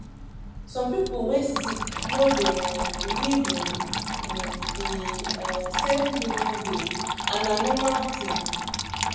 some people wey sick no dey um believe in um the um same healing way and na normal thing.